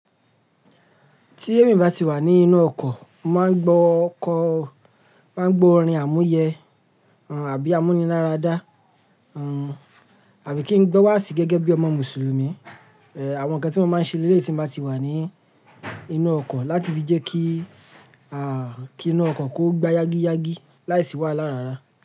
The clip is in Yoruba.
Tí èmi bá ti wà ní inú ọkọ̀, máa ń gbọ́ kọ, máa ń gbọ́ orin àmúyẹ, àbí amúniláradá, àbí kí n gbọ́ wáàsí gẹ́gẹ́ bí ọmọ Mùsùlùmí. Èh, àwọn ǹkan tí mo máa ń ṣe lélè yi tí mo bá ti wà ní inú ọkọ̀ láti fi jẹ́ kí, à, kí inú ọkọ̀ kó gbá yágíyágí láìsí wàhálà rara.